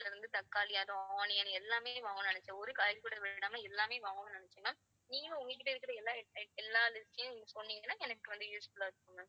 தக்காளி அதுவும் onion எல்லாமே வாங்கணும்னு நினைச்சேன். ஒரு காய் கூட விடாம எல்லாமே வாங்கணும்னு நினைச்சேன் ma'am நீங்களும் உங்க கிட்ட இருக்குற எல்லா~ எல்லா list யும் எனக்கு சொன்னீங்கன்னா எனக்கு வந்து useful ஆ இருக்கும் ma'am.